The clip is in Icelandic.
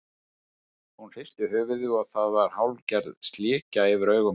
Hún hristi höfuðið og það var hálfgerð slikja yfir augum hennar.